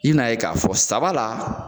I bɛn'a ye k'a fɔ saba la